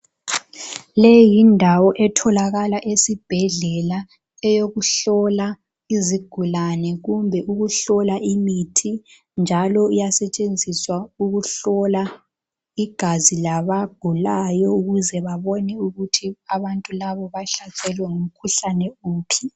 Le yindawo etholakala esibhedlela eyokuhlola izigulane kumbe ukuhlola imithi njalo iyasetshenziswa ukuhlola igazi labagulayo ukuze babone ukuthi abantu laba bahlaselwe ngumkhuhlane wuphi.